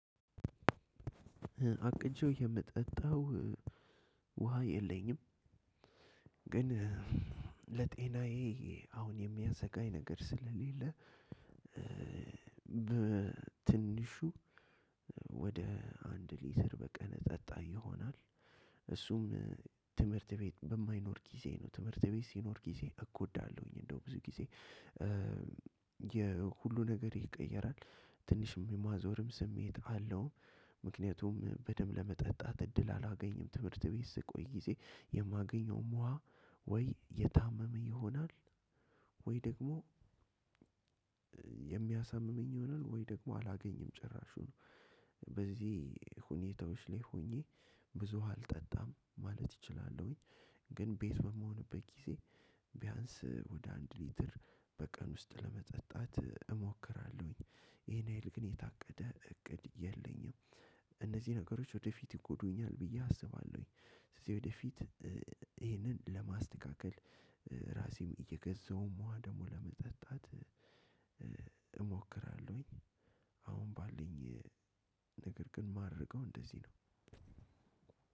አቅጄው የምጠጣው ውሃ የለኝም ግን ለጤናዬ አሁን የሚያሰጋኝ ነገር ስለሌለ በትንሹ ወደ አንድ ሊትር በቀን እጠጣ ይሆናል። ትምህርት ቤት በማይኖር ጊዜ ነው ትምህርት ቤት ሲኖር ጊዜ እጎዳለሁኝ እንደውም ብዙ ጊዜ የሁሉ ነገርህ ይቀየራል ትንሽ የማዞርም ስሜትም አለው ምክያቱም በደንብ ለመጠጣት እድል አላገኝም ትምህርት ቤት ስቆይ ጊዜ የማገኘውም ውሃ ወይ የታመመ ይሆናል ወይ ደግሞ የሚያሳምመኝ ይሆናል ወይ ደግሞ አላገኝም ጭራሹን በዚህ ሁኔታዎች ላይ ሆኜ ብዙ ውሃ አልጠጣም ማለት እችላለሁኝ። ግን ቤት በምሆንበት ጊዜ ቢያንስ ወደ አንድ ሊትር በቀን ውስጥ ለመጠጣት እሞክራለሁኝ። ይሄን ሀይል ግን የታቀደ እቅድ የለኝም ነገሮች ወደፊት ይጎዱኛል ብዬ አስባለሁኝ ስለዚህ ወደፊት ይሄንን ለማስተካከል ራሴም እየገዛሁም ውሃ ደግሞ ለመጠጣት እሞክራለሁኝ አሁን ባለኝ ነገር ግን የማደርገው እንደዚህ ነው